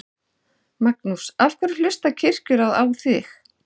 Magnús: Af hverju hlustar Kirkjuráð á þig?